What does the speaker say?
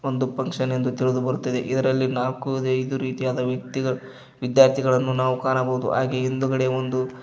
ಒಂದು ಫಂಕ್ಷನ್ ಎಂದು ತಿಳಿದು ಬರುತ್ತಿದೆ ಇದರಲ್ಲಿ ನಾಲ್ಕು ಐದು ರೀತಿಯಾದ ವ್ಯಕ್ತಿಗ ವಿದ್ಯಾರ್ಥಿಗಳನ್ನು ನಾವು ಕಾಣಬಹುದು ಹಾಗೆ ಹಿಂದುಗಡೆ ಒಂದು--